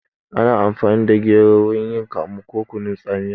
Ana amfani da gero wurin yin kamu ko kunun tsamiya